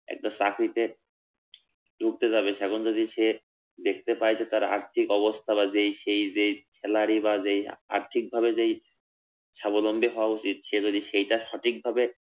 একটা চাকরিতে ঢুকতে যাবে সেখানে যদি সে দেখতে পায় যে তার আর্থিক অবস্থা বা যেই সেই যেই salary বা যেই আর্থিকভাবে যেই স্বাবলম্বী হওয়া উচিত সে যদি সেইটা সঠিক ভাবে